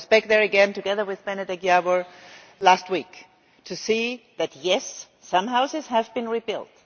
And I was back there again, together with Benedek Jávor, last week to see that, yes, some houses have been rebuilt